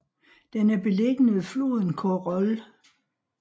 Den er beliggende ved floden Khorol